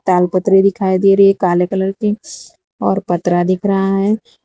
पतरी दिखाई दे रही है काले कलर की और पत्रा दिख रहा है।